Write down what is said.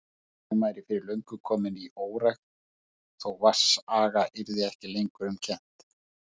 Mýrin væri fyrir löngu komin í órækt, þó vatnsaga yrði ekki lengur um kennt.